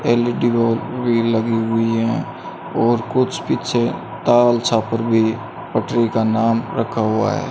L E D bulb भी लगी हुई है और कुछ पीछे टॉवल छापर भी पटरी का नाम रखा हुआ है।